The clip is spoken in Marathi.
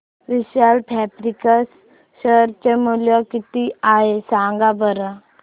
विशाल फॅब्रिक्स शेअर चे मूल्य किती आहे सांगा बरं